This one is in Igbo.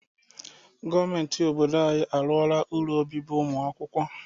Gọọmenti obodo anyị arụọla ụlọ obibi ụmụ akwụkwọ.